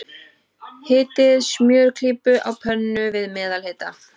Hitið smjörklípu á pönnu, við meðalhita.